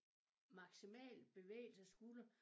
Maksimal bevægelse af skulder